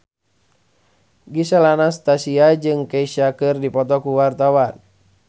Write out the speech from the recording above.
Gisel Anastasia jeung Kesha keur dipoto ku wartawan